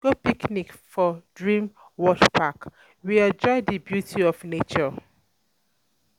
We go picnic for Dream World park, we enjoy di beauty of nature.